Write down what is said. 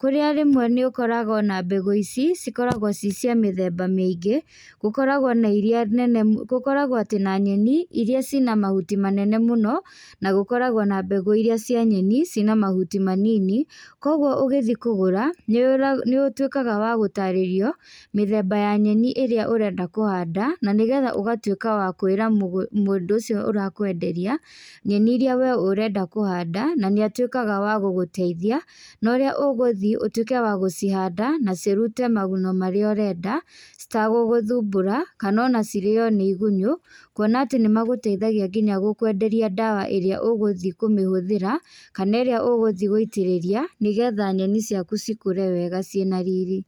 kũrĩa rĩmwe nĩũkoraga ona mbegũ ici, cikoragwo ci cia mĩthemba mĩingĩ, gũkoragwo na iria nene mũ, gũkoragwo atĩ na nyeni, iria cina mahuti manene mũno, na gũkoragwo na mbegũ iria cia nyeni, cina mahuti manini, kwoguo ũgĩthiĩ kũgũra, nĩwĩ, nĩũtwĩkaga wagũtarĩrio mĩthemba ya nyeni iria ũrenda kũhanda, nanĩgetha ũgatwĩka wa kwĩra mũgũ, mũndũ ũcio ũrakwenderia, nyeni iria wee ũrenda kũhanda, na nĩatwĩkaga wa gũgũteithia, no ũrĩa ũgũthiĩ, ũtwĩke wa gũcihanda, na cirute maguno marĩa we ũrenda, citagũgũthumbũra, kanona cirĩo nĩ igunyũ, kuona atĩ nĩmagũteithagia nginya gũkwenderia gũkwenderia ndawa ĩrĩa ũgũthiĩ kũmĩhũthĩra, kana ĩrĩa ũgũthiĩ gũitĩrĩria, nĩgetha nyeni ciaku cikũre wega ciĩna riri.